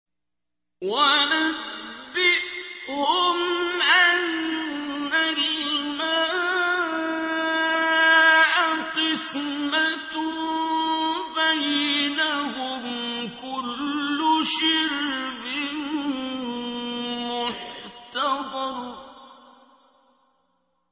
وَنَبِّئْهُمْ أَنَّ الْمَاءَ قِسْمَةٌ بَيْنَهُمْ ۖ كُلُّ شِرْبٍ مُّحْتَضَرٌ